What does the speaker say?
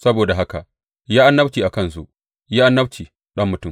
Saboda haka yi annabci a kansu; yi annabci, ɗan mutum.